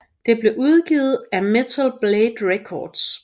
Det blev udgivet af Metal Blade Records